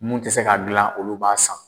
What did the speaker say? Mun tɛ se k'a dilan olu b'a san.